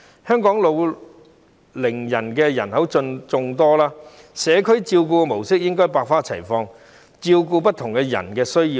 香港老齡人口眾多，社區照顧模式應該百花齊放，以照顧不同人士的需要。